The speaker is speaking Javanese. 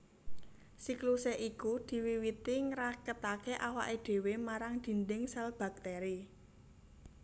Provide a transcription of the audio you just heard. Siklusé iku diwiwiti ngraketaké awaké dhéwé marang dhindhing sèl baktèri